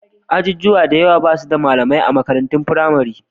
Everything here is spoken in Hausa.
Ajujuwa da dama ba su da malamai a makarantun firamare.